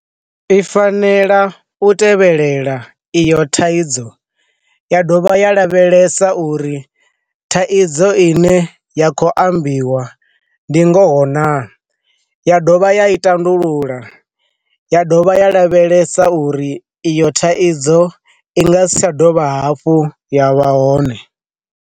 I fanela u tevhelela iyo thaidzo, ya dovha ya lavhelesa uri thaidzo ine ya kho ambiwa ndi nga ho na, ya dovha ya i tandulula ya dovha ya lavhelesa uri iyo thaidzo i nga si tsha dovha hafhu ya vha hone.